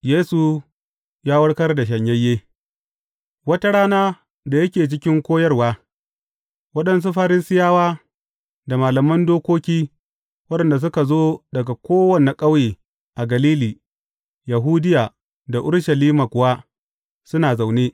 Yesu ya warkar da shanyayye Wata rana, da yake cikin koyarwa, waɗansu Farisiyawa da malaman dokoki waɗanda suka zo daga kowane ƙauye a Galili, Yahudiya da Urushalima kuwa suna zaune.